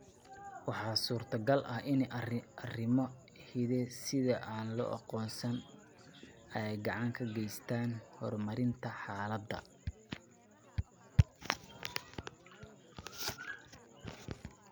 Waxaa suurtagal ah in arrimo hidde-side aan la aqoonsan ay gacan ka geystaan ​​horumarinta xaaladda.